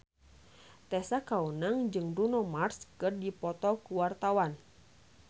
Tessa Kaunang jeung Bruno Mars keur dipoto ku wartawan